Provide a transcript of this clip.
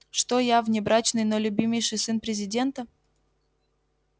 что я внебрачный но любимейший сын президента